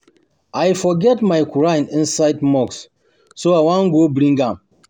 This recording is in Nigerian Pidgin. I forget my quran inside mosque so I wan go bring am